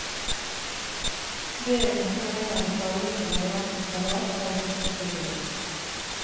Be om å få en av de tallrike variantene salat servert som tilbehør.